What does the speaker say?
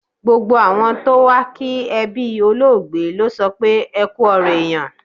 Gbogbo àwọn tó wá kí ẹbí olóògbé sọ pé "Ẹ kú ọ̀rọ̀ èèyàn".